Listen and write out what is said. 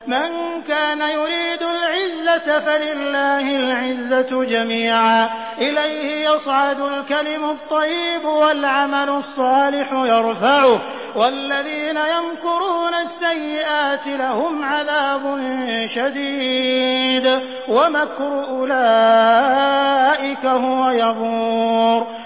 مَن كَانَ يُرِيدُ الْعِزَّةَ فَلِلَّهِ الْعِزَّةُ جَمِيعًا ۚ إِلَيْهِ يَصْعَدُ الْكَلِمُ الطَّيِّبُ وَالْعَمَلُ الصَّالِحُ يَرْفَعُهُ ۚ وَالَّذِينَ يَمْكُرُونَ السَّيِّئَاتِ لَهُمْ عَذَابٌ شَدِيدٌ ۖ وَمَكْرُ أُولَٰئِكَ هُوَ يَبُورُ